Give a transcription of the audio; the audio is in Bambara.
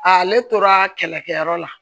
Ale tora kɛlɛkɛyɔrɔ la